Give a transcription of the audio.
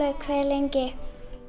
hve lengi